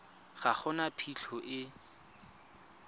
ga go na phitlho e